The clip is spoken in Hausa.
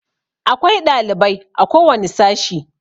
Akwai ɗalibai a ko wani sashi.